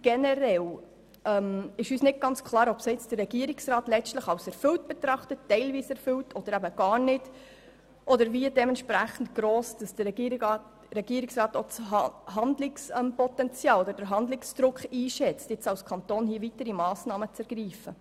Generell ist uns nicht ganz klar, ob der Regierungsrat die Ziele letztlich als erfüllt, teilweise erfüllt oder gar nicht erfüllt betrachtet und wie gross der Regierungsrat Handlungspotenzial oder Handlungsdruck für weitere Massnahmen des Kantons einschätzt.